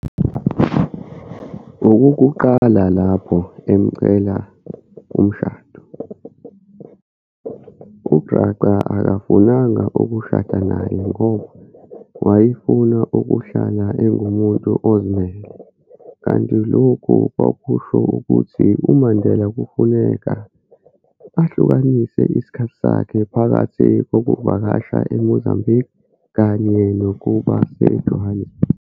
Okokuqala lapho emcela umshado, uGraca akafunanga ukushada naye ngoba wayefuna ukuhlala engumuntu ozimele, kanti lokhu kwakusho ukuthi uMandela kufuneka ahlukanise isikhathi sakhe phakathi kokuvakasha eMozambique kanye nokuba se-Johannesburg.